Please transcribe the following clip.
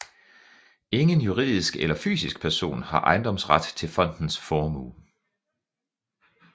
Ingen juridisk eller fysisk person har ejendomsret til fondens formue